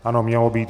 Ano, mělo být.